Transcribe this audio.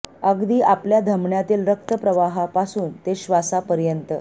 अगदी आपल्या धमान्यातिल रक्त प्रवाहां पासून ते श्वासा पर्यन्त